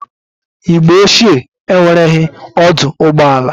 Igbo ochie enwereghi ọdụ ụgbọ ala.